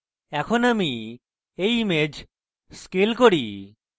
এখন আমি এই image scale করি